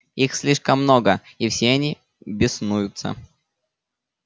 их слишком много и все они беснуются